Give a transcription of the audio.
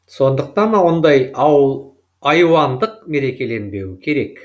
сондықтан ондай айуандық мерекеленбеуі керек